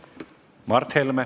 Mart Helme.